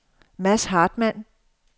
Mads Hartmann